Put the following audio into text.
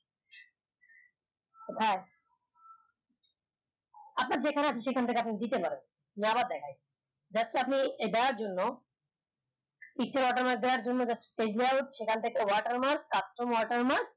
কোথায় আপনার যেখানে আছে সেখান থেকে দিতে পারেন দেখায় এডার জন্য picture watermark দেওয়ার জন্য সেখান থেকে watermark custom